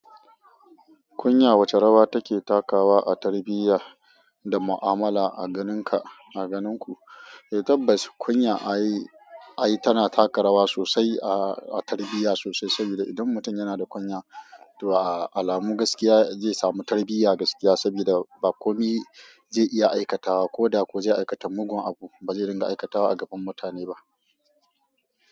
Kunya wace rawa take takawa a tarbiyya da mu'amala a ganinka, a ganinku? Eh tabbas kunya ai, ai tana taka rawa sosai a tarbiyya sosai saboda idan mutum yana da kunya, to alamu gaskiya zai samu tarbiyya gaskiya sabida ba komi zai iya aikatawa ko da ko zai aikata mugun abu, ba zai ringa aikatawa a gaban mutane ba.